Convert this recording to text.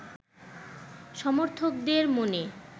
সমর্থকদের মনে